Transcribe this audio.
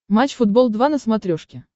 матч футбол два на смотрешке